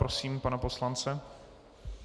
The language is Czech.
Prosím pana poslance.